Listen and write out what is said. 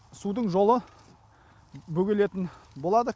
судың жолы бөгелетін болады